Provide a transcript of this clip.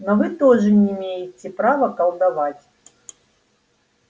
но вы тоже не имеете права колдовать